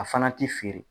A fana ti feere